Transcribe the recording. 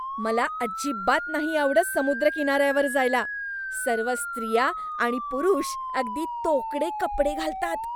मला अजिबात नाही आवडत समुद्रकिनाऱ्यावर जायला. सर्व स्त्रिया आणि पुरुष अगदी तोकडे कपडे घालतात.